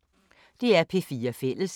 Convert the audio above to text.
DR P4 Fælles